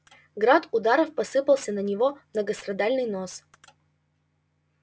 град ударов посыпался на его многострадальный нос